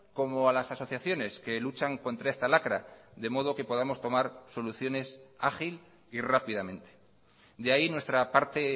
como a las asociaciones que luchan contra esta lacra de modo que podamos tomar soluciones ágil y rápidamente de ahí nuestra parte